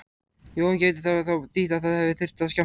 Jóhann: Gæti það þá þýtt að það þyrfti að skammta?